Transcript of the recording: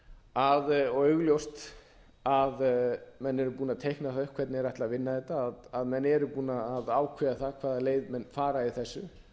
sparisjóði og augljóst að menn eru búnir að teikna það upp hvernig þeir ætla að vinna þetta að menn eru búnir að ákveða það hvaða leið menn fara í þessu